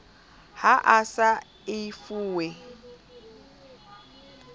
ha a sa e fuwe